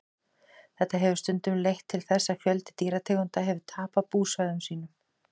þetta hefur stundum leitt til þess að fjöldi dýrategunda hefur tapað búsvæðum sínum